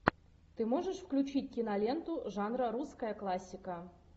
ты можешь включить киноленту жанра русская классика